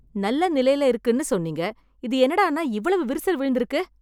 நல்ல நிலையில இருக்குன்னு சொன்னீங்க. இது என்னடான்னா இவ்வளவு விரிசல் விழுந்து இருக்கு!